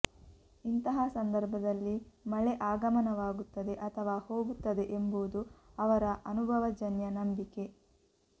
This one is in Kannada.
ಇಂತಹ ಸಂದರ್ಭದಲ್ಲಿ ಮಳೆ ಆಗಮನವಾಗುತ್ತದೆ ಅಥವಾ ಹೋಗುತ್ತದೆ ಎಂಬುದು ಅವರ ಅನುಭವಜನ್ಯ ನಂಬಿಕೆ